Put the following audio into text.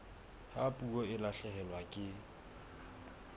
ha puo e lahlehelwa ke